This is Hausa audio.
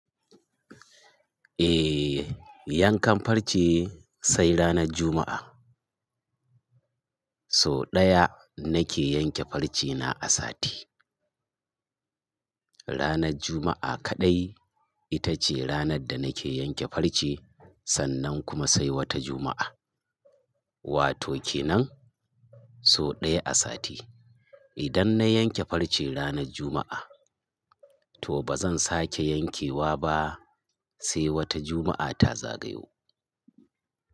Eh, yan kan farce sai ranar Juma'a. So ɗaya nake yanke farce na a sati. Ranar Juma'a kaɗai ita ce ranar da nake yanke farce sannan kuma sai wata Juma'a. Wato kenan so ɗaya a sati. Idan na yanke farce ranar Juma'a, to ba zan sake yankewa ba sai wata Juma'a ta zagayo.